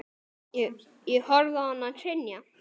Ég horfði á hann hrynja.